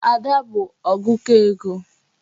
Ada bụ ọgụkọ ego.